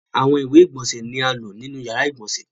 Awọn iwe igbonse ni a lo ninu yara igbonse.